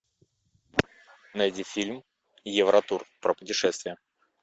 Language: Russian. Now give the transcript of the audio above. найди фильм евротур про путешествия